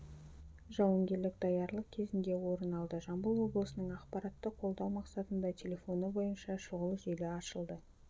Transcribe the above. жауынгерлік даярлық кезінде орын алды жамбыл облысының ақпаратты қолдау мақсатында телефоны бойынша шұғыл желі ашылды